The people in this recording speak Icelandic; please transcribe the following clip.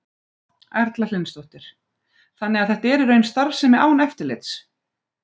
Erla Hlynsdóttir: Þannig að þetta er í raun starfsemi án eftirlits?